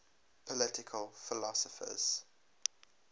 political philosophers